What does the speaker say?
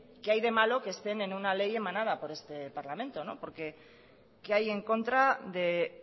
qué hay de malo que estén en una ley emanada por el este parlamento qué hay en contra de